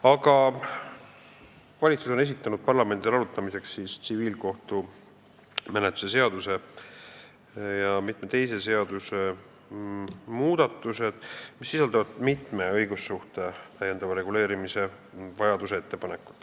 Aga valitsus on esitanud parlamendile arutamiseks tsiviilkohtumenetluse seadustiku ja mitme teise seaduse muudatused, mis tulenevad vajadusest õigussuhteid täiendavalt reguleerida.